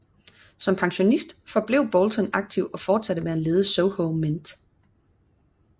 Som pensionist forblev Boulton aktiv og fortsatte med at lede Soho Mint